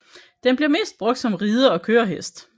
Den bliver mest brugt som ride og kørehest